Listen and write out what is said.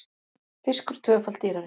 Fiskur tvöfalt dýrari